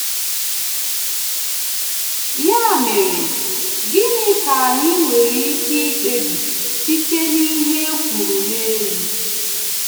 Ya mere, gịnị ka anyị nwere ike ikpebi site n’ihe e kwuru n’elu?